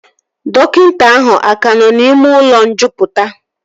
Dọkịta ahụ aka nọ n'ime ụlọ njupụta?